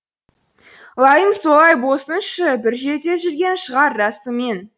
лайым солай болсыншы бір жерде жүрген шығар расымен